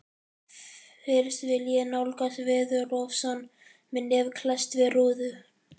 Fyrst vil ég nálgast veðurofsann með nef klesst við rúðu.